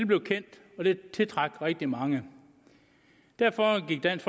blev kendt og det tiltrak rigtig mange derfor gik dansk